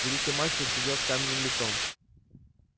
великий мастер сидел с каменным лицом